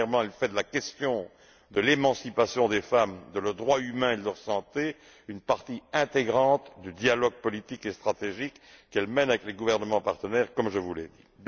Premièrement, elle fait de la question de l'émancipation des femmes, de leurs droits humains et de leur santé une partie intégrante du dialogue politique et stratégique qu'elle mène avec les gouvernements partenaires, comme je vous l'ai dit.